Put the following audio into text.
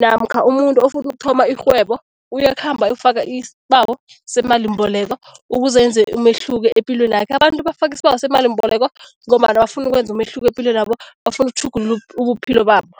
namkha umuntu ofuna ukuthoma irhwebo uyakhamba ayokufaka isibawo semalimbeleko, ukuze enze umehluko epilwenakhe. Abantu bafaka isibawo semalimboleko ngombana bafuna ukwenza umehluko epilweni nabo, bafuna ukutjhugulula ubuphilo babo.